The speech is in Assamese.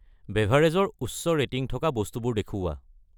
বেভাৰেজ ৰ উচ্চ ৰেটিং থকা বস্তুবোৰ দেখুওৱা।